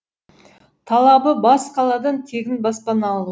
талабы бас қаладан тегін баспана алу